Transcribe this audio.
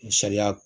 Misaliya